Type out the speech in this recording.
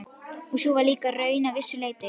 Og sú var líka raunin að vissu leyti.